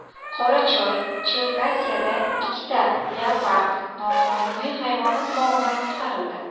Qorachoy-Cherkasiyada ikkita leopard noqonuniy hayvonot bog‘idan qutqarildi.